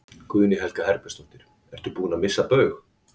Guðný Helga Herbertsdóttir: Ertu búinn að missa Baug?